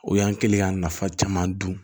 O y'an kɛlen y'an nafa caman dun